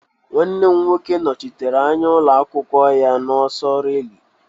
Nwanne m nwoke nọchitere anya ụlọ akwụkwọ ya n'ọsọ rilé.